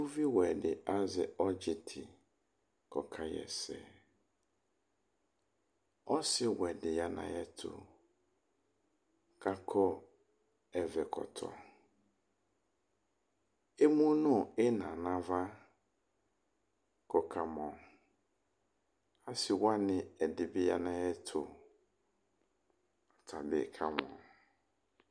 Uviwɛ dɩ azɛ ɔdzi tɩ ku ɔkaɣa ɛsɛ , ɔsiwɛ dɩ ya nu ayɛtu, kakɔ ɛvɛ kɔtɔ, emu nu ɩna nava, ku ɔkamɔ, asiwanɩ ɛdɩbɩ ya nu ayɛtu, atabɩ kamɔ